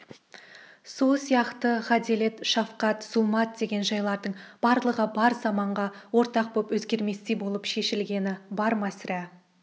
сол сияқты ғаделет шафқат зұлмат деген жайлардың барлығы бар заманға ортақ боп өзгерместей болып шешілгені бар ма сірә